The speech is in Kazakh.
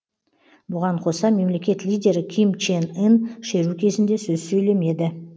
бұған қоса мемлекет лидері ким чен ын шеру кезінде сөз сөйлемеді